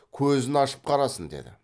көзін ашып қарасын деді